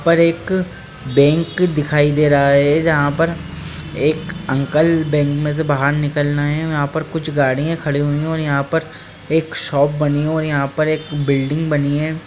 पर एक बैंक दिखाई दे रहा हैं जहाँ पर एक अंकल बैंक में से बाहर निकल रहे है और यहाँ पर कुछ गाड़ियाँ खड़ी हुई हैं और यहाँ पर एक शॉप बनी हैं और यहाँ पर एक बिल्डिंग बनी हैं।